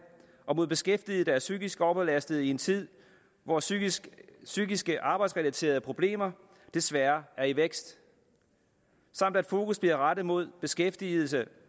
og mod beskæftigede psykisk overbelastede i en tid hvor psykiske psykiske arbejdsrelaterede problemer desværre er i vækst samt at fokus bliver rettet mod beskæftigede